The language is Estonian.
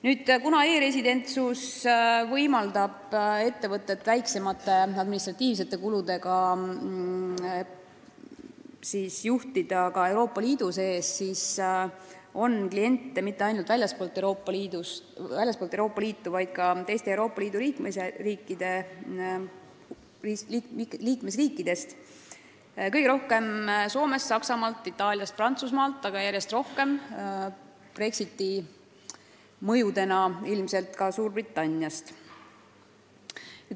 Nüüd, kuna e-residentsus võimaldab ettevõtet väiksemate administratiivkuludega juhtida ka Euroopa Liidu sees, siis on huvilisi mitte ainult väljastpoolt Euroopa Liitu, vaid ka teistest Euroopa Liidu liikmesriikidest, kõige rohkem Soomest, Saksamaalt, Itaaliast ja Prantsusmaalt, aga järjest rohkem – Brexiti mõjul ilmselt – ka Suurbritanniast.